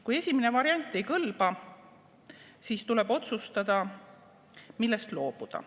Kui esimene variant ei kõlba, siis tuleb otsustada, millest loobuda.